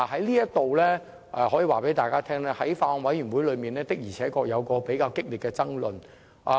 在此，我可以告訴大家，法案委員會在討論過程中確實出現比較激烈的爭論。